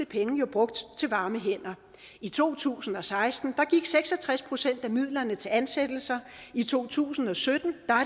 penge jo brugt til varme hænder i to tusind og seksten gik seks og tres procent af midlerne til ansættelser i to tusind og sytten